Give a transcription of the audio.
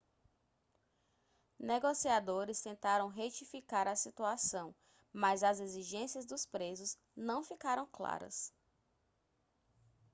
negociadores tentaram retificar a situação mas as exigências dos presos não ficaram claras